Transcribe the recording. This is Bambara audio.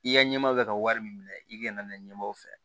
I ka ɲɛmɔgɔw bɛ ka wari min minɛ i kana na ɲɛmaw fɛ